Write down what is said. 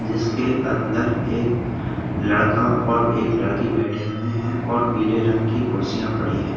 जिसके अन्दर एक लड़का और एक लड़की बैठे हुए है और पीले रंग की कुर्सियाँ पड़ी है।